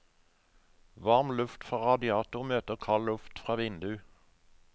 Varm luft fra radiator møter kald luft fra vindu.